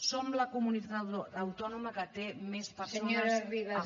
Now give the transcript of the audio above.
som la comunitat autònoma que té més persones